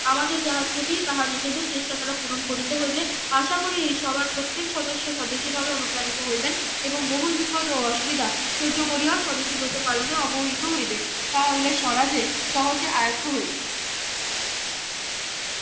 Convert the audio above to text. আমাদের যাহা ত্রুটি তাহা নিজেদের চেষ্টা দ্বারা পূরণ করিতে হইবে আশা করি এই সভার প্রত্যেক সদস্য স্বদেশী ভাবে অনুপ্রানিত হইবেন এবং বহুল বিপদ ও অসুবিধা সহ্য করিয়াও স্বদেশী ব্রত পালনে অবহিত হইবেন তাহা হইলে স্বরাজে সহজে আয়ত্ত হইবে